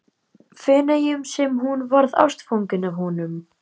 Feneyjum sem hún varð ástfangin af honum.